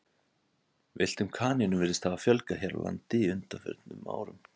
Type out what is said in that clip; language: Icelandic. villtum kanínum virðist hafa fjölgað hér á landi á undanförnum árum